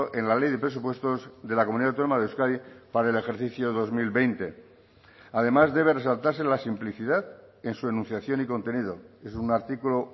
en la ley de presupuestos de la comunidad autónoma de euskadi para el ejercicio dos mil veinte además debe resaltarse la simplicidad en su enunciación y contenido es un artículo